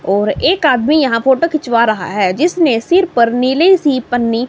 और एक आदमी यहां फोटो खिंचवा रहा है जिसने सिर पर नीले सी पन्नी।